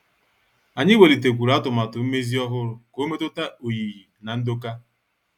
Anyị welitekwuru atụmatụ mmezi ọhụrụ ka ọ metuta oyiyi na ndoka.